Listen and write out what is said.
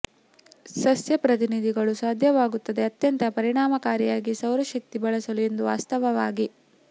ಸಸ್ಯ ಪ್ರತಿನಿಧಿಗಳು ಸಾಧ್ಯವಾಗುತ್ತದೆ ಅತ್ಯಂತ ಪರಿಣಾಮಕಾರಿಯಾಗಿ ಸೌರಶಕ್ತಿ ಬಳಸಲು ಎಂದು ವಾಸ್ತವವಾಗಿ